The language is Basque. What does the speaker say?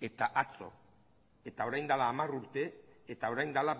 eta atzo eta orain dela hamar urte eta orain dela